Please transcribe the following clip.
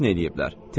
Dəfn eləyiblər.